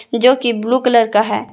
जो कि blue colour का है।